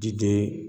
Jiden